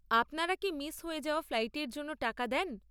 আপনারা কি মিস হয়ে যাওয়া ফ্লাইটের জন্য টাকা দেন?